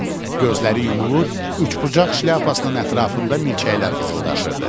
Gözləri yumulur, üçbucaq şlyapasının ətrafında milçəklər vızıldaşırdı.